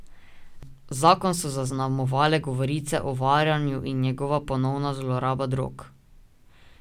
Zakon so zaznamovale govorice o varanju in njegova ponovna zloraba drog.